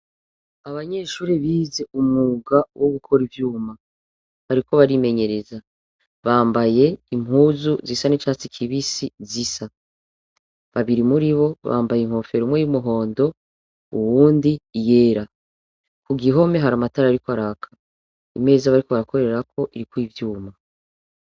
Abanyeshure bize umwuga wogukora ivyuma, bariko barimenyereza ,bambaye impuzu zisa n'icatsi kibisi zisa, babiri muribo bambaye inkofero umwe iy'umhondo, uwundi iyera. Kugihome hari amatara ariko araka, imeza bariko barakorera ko iriko ivyuma.